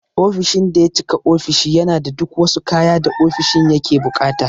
Ofishin daya cika ofishi yana da duk wasu kaya da ofishin yake buƙata.